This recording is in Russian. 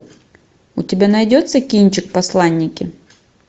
у тебя найдется кинчик посланники